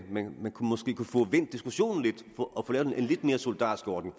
man måske kunne få vendt diskussionen lidt og få lavet en lidt mere solidarisk ordning